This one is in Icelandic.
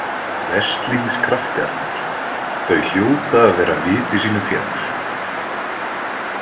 Veslings krakkarnir, þau hljóta að vera viti sínu fjær.